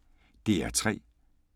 DR P3